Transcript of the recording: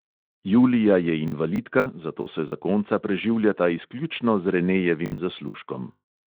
Julija je invalidka, zato se zakonca preživljata izključno z renejevim zaslužkom.